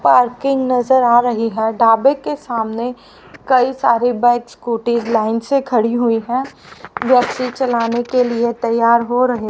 parking नजर आ रही है ढाबे के सामने कई सारी बाइक स्कूटीज लाइन से खड़ी हुई है व्यक्ति चलाने के लिए तैयार हो रहे--